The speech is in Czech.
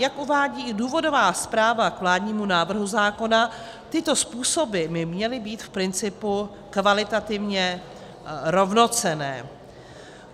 Jak uvádí důvodová zpráva k vládnímu návrhu zákona, tyto způsoby by měly být v principu kvalitativně rovnocenné.